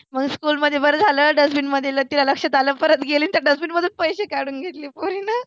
म्हणून school मध्ये बरं झालंं dustbin लगेच तीला लक्षात आलं. परत गेली आन त्या dustbin मधुन पैसे काढुन घेतले पोरीनं.